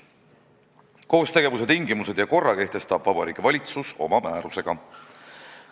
Koostegevuse tingimused ja korra kehtestab Vabariigi Valitsus oma määrusega.